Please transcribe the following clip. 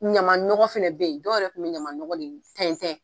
Ɲaman nɔgɔ fɛnɛ bɛ yen, dɔw yɛrɛ kun bɛɛ ɲaman nɔgɔ de tɛntɛn.